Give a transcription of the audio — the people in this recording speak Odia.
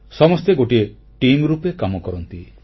ସମସ୍ତେ ଗୋଟିଏ ଟିମ୍ ରୂପେ କାମ କରନ୍ତି